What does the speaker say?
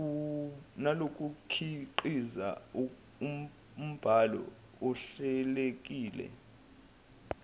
nokukhiqiza umbhalo ohlelekile